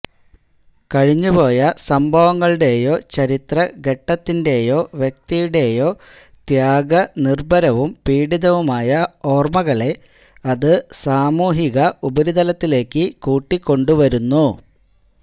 കഴിഞ്ഞുപോയ സംഭവങ്ങളുടെയോ ചരിത്രഘട്ടത്തിന്റെയോ വ്യക്തിയുടെയോ ത്യാഗനിർഭരവും പീഡിതവുമായ ഓർമ്മകളെ അത് സാമൂഹിക ഉപരിതലത്തിലേക്ക് കൂട്ടിക്കൊണ്ടുവരുന്നു